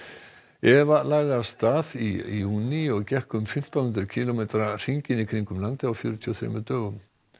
Eva lagði af stað í júní og gekk um fimmtán hundruð kílómetra hringinn í kringum landið á fjörutíu og þremur dögum